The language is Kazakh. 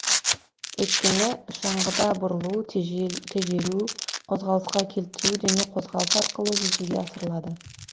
өйткені шаңғыда бұрылу тежелу қозғалысқа келтіру дене қозғалысы арқылы жүзеге асырылады